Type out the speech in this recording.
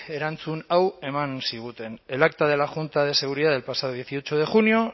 erantzun hau eman ziguten el acta de la junta de seguridad del pasado dieciocho de junio